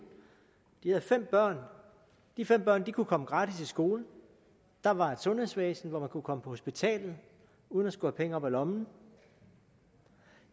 de havde fem børn de fem børn kunne komme gratis i skole der var et sundhedsvæsen så man kunne komme på hospitalet uden at skulle have penge op af lommen